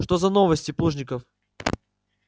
что за новости плужников